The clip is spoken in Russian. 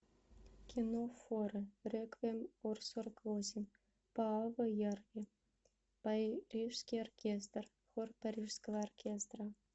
кино форе реквием ор сорок восемь пааво ярви парижский оркестр хор парижского оркестра